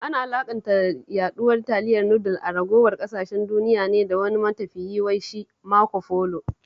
Ana alaƙanta yaɗuwar taliyar nudul a ragowar ƙasashen duniya ne da wani matafiyi wai shi Marco Polo